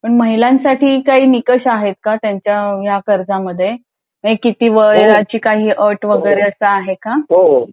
पण महीलांसाठी काही निकष आहेत का ह्या कर्जमध्ये वयाची काही अट वैगरे आहे का